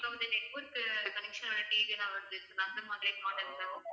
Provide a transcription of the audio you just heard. இப்ப வந்து network connection ஓட TV எல்லாம் வருது அந்த மாதிரி